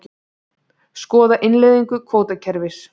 Skoða innleiðingu kvótakerfis